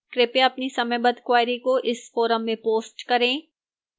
कृपया अपनी समयबद्ध queries को इस forum में post करें